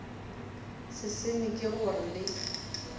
se sengwe ke gore le